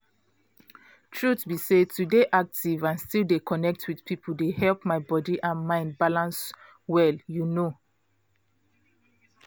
truth be say to dey active and still dey connect with people dey help my body and mind balance well you know